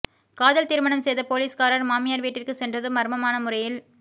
காதல் திருமணம் செய்த போலீஸ்காரர் மாமியார் வீட்டிற்கு சென்றதும் மர்மமான முறையில்